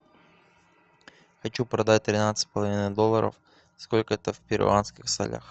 хочу продать тринадцать с половиной долларов сколько это в перуанских солях